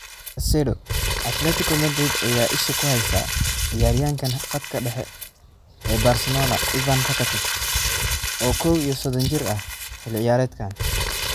(Cadcedo) Atletico Madrid ayaa isha ku heysa ciyaaryahanka khadka dhexe ee Barcelona Ivan Rakitic, oo kow iyo sodon jir ah, xilli ciyaareedkan.